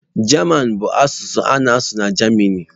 German bụ asụsụ a na-asụ na Jamanị.